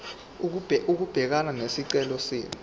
ukubhekana nesicelo senu